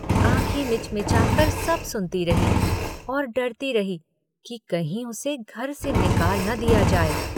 आँखें मिचमिचाकर सब सुनती रही और डरती रही कि कहीं उसे घर से निकाल न दिया जाए।